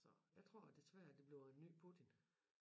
Så jeg tror desværre at det bliver en ny Putin